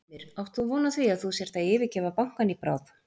Heimir: Átt þú von á því að þú sért að yfirgefa bankann í bráð?